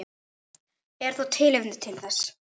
Er þó tilefni til þess.